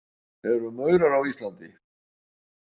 Eru maurar á Íslandi?